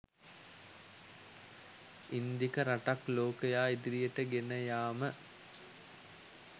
ඉන්දික රටක් ලෝකයා ඉදිරියට ගෙන යාම